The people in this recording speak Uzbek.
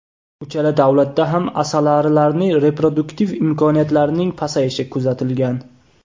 Uchala davlatda ham asalarilarning reproduktiv imkoniyatlarining pasayishi kuzatilgan.